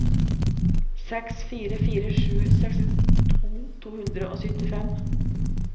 seks fire fire sju sekstito to hundre og syttifem